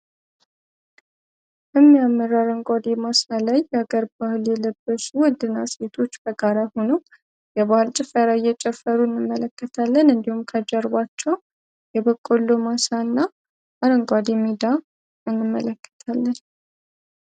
የሚያምራለን ከጋራ ሆኖ የጨፈሩን እንዲሁም ከጀርባቸው የበቆሎ